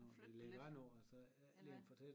Og flytte det lidt eller